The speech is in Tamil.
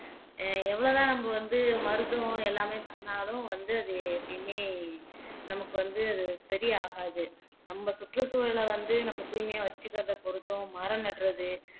எவ்வளவுதான் நம்ம வந்து மருத்துவம் எல்லாமே பண்ணாலும் வந்து அது எப்பயுமே நமக்கு வந்து அது சரியாகாது நம்ம சுற்றுச்சூழல வந்து நம்ம தூய்மையா வச்சுக்கறதை பொறுத்தும் மரம் நடுறது